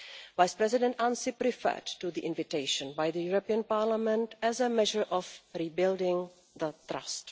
Vice President Ansip referred to the invitation by the European Parliament as a measure of rebuilding the trust.